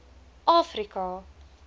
afrika